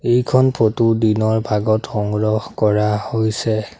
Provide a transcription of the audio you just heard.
এইখন ফটো দিনৰ ভাগত সংগ্ৰহ কৰা হৈছে।